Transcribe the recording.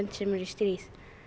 sem eru í stríði